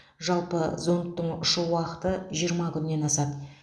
жалпы зондтың ұшу уақыты жиырма күннен асады